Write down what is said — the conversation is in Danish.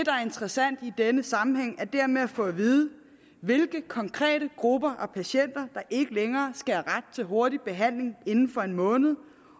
interessant i denne sammenhæng er dermed at få at vide hvilke konkrete grupper af patienter der ikke længere skal have ret til hurtig behandling inden for en måned